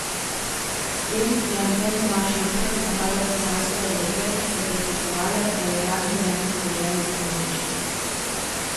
S tem je Anton Tomaž Linhart napadel cesarske odredbe, ki so predpisovale, da je uradni jezik v deželi samo nemški.